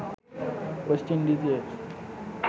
West ইন্ডিজের